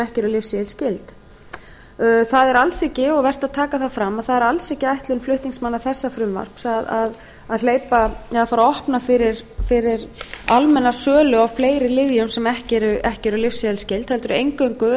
ekki eru lyfseðilsskyld vert er að taka það fram að það er alls ekki ætlun flutningsmanna þessa frumvarps að fara að opna fyrir almenna sölu á fleiri lyfjum sem ekki eru lyfseðilsskyld heldur eingöngu